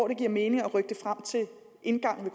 vil give mening at rykke den frem til indgangen